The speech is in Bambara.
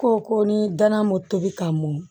Ko ko ni danna ma tobi ka mɔn